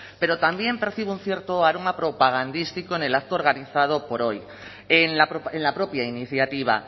pero también percibo un cierto aroma propagandístico en el acto organizado por hoy en la propia iniciativa